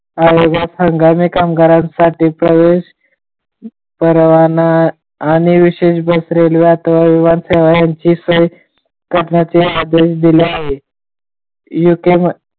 आयोगात हंगामी कामगारांसाठी प्रवेश परवाना आणि विशेष बस रेल्वे सोय करण्याचे आदेश दिले आहेत.